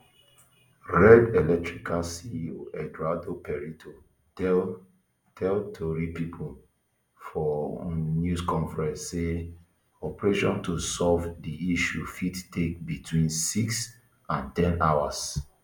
red electrica ceo eduardo prieto tell tell tori pipo for um news conference say operation to solve di issue fit take between six and ten hours